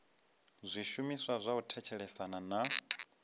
zwishumiswa zwa u thetshelesa na